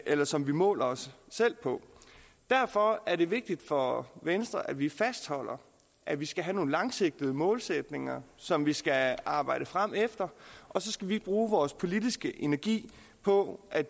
eller som vi måler os selv på derfor er det vigtigt for venstre at vi fastholder at vi skal have nogle langsigtede målsætninger som vi skal arbejde frem efter og så skal vi bruge vores politiske energi på at